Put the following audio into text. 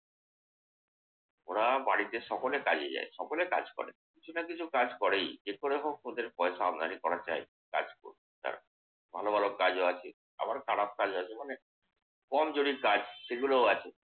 ওরা বাড়িতে সকলে কাজে যায়, সকলে কাজ করে। কিছু না কিছু কাজ করেই। যে করেই হোক ওদের পয়সা আমদানি করা চাই। কাজ করে ভালো ভালো কাজও আছে আবার খারাপ কাজও আছে অনেক। কমজোরি কাজ সেগুলোও আছে।